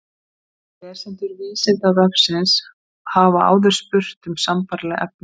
Lesendur Vísindavefsins hafa áður spurt um sambærileg efni.